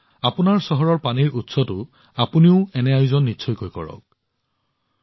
আপোনালোকৰ চহৰবোৰতো যি ধৰণৰ পানীৰ উৎস আছে আপোনালোকে কিবা নহয় কিবা এটা অনুষ্ঠিত কৰাটো আৱশ্যক